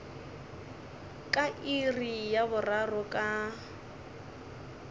ka iri ya boraro ka